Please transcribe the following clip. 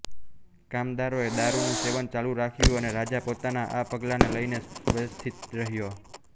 કામદારોએ દારૂનું સેવન ચાલુ રાખ્યું અને રાજા પોતાના આ પગલાને લઈને વ્યથિત રહ્યો